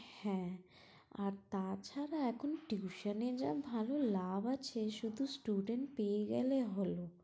হ্যাঁ আর তাছাড়া এখন tuition এ যা ভালো লাভ আছে শুধু student পেয়ে গেলে হলো